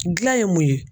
Gilan ye mun ye